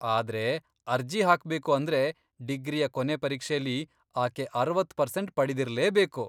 ಆದ್ರೆ ಅರ್ಜಿ ಹಾಕ್ಬೇಕು ಅಂದ್ರೆ, ಡಿಗ್ರಿಯ ಕೊನೆ ಪರೀಕ್ಷೆಲಿ ಆಕೆ ಅರವತ್ ಪರ್ಸೆಂಟ್ ಪಡೆದಿರ್ಲೇಬೇಕು.